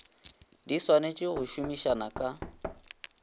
di swanetse go somisana ka